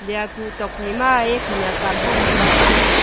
liya kuh tuak phai ma khanak awang lah ley tai a.